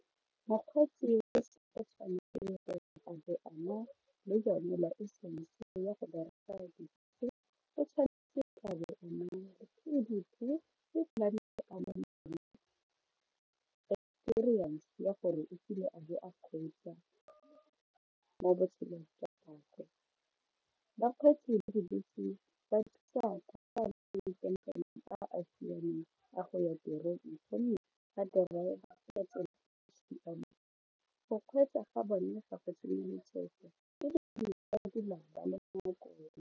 Mokgweetsi a be a na le yone license ya go bereka dibese o tshwanetse a bo a experience ya gore o kile a bo a kgweetsa mo botshelong jwa gagwe, bakgweetsi a a siameng a go ya tirong gonne ba driver ka tsela e siameng go kgweetsa ga bone ga go tsenye letsetsa ebile mo nakong.